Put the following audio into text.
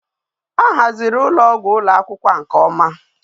A haziri ulo ogwu ulo akwukwo a nke oma